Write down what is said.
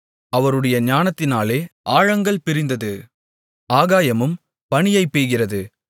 அவருடைய ஞானத்தினாலே ஆழங்கள் பிரிந்தது ஆகாயமும் பனியைப் பெய்கிறது